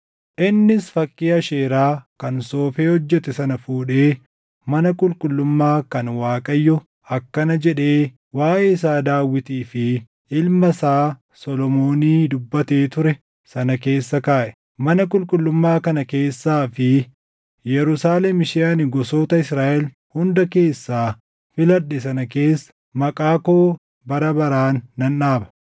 Innis fakkii Asheeraa kan soofee hojjete sana fuudhee mana qulqullummaa kan Waaqayyo akkana jedhee waaʼee isaa Daawitii fi ilma isaa Solomoonii dubbatee ture sana keessa kaaʼe; “Mana qulqullummaa kana keessaa fi Yerusaalem ishee ani gosoota Israaʼel hunda keessaa filadhe sana keessa Maqaa koo bara baraan nan dhaaba.